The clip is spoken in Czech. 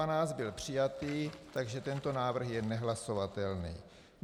A12 byl přijatý, takže tento návrh je nehlasovatelný.